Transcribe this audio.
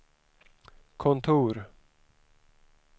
kontor